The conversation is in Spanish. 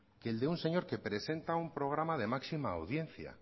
que el de un señor que presenta un programa de máxima audiencia